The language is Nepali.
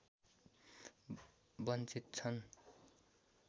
वञ्चित छन्